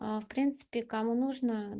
в принципе кому нужно